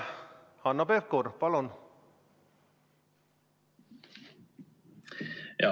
Hanno Pevkur, palun!